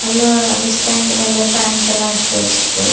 இதுல அந்த ஸ்டாண்ட் மேல பேண்ட்லாம் எடுத்து வச்சிருக்கு.